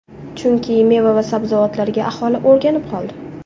Chunki meva va sabzavotlarga aholi o‘rganib qoldi.